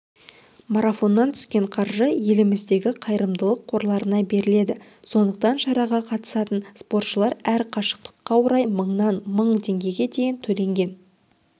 марафоннан түскен қаржы еліміздегі қайырымдылық қорларына беріледі сондықтан шараға қатысатын спортшылар әр қашықтыққа орай мыңнан мың теңгеге дейін төлеген